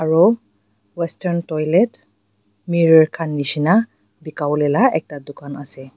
aro western toilet mirror khan nishina bikawolela ekta dukan ase.